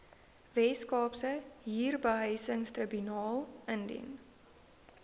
weskaapse huurbehuisingstribunaal indien